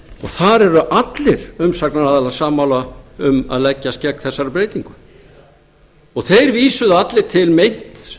þar eru allir umsagnaraðilar sammála um að leggjast gegn þessari breytingu þeir vísuðu allir til meints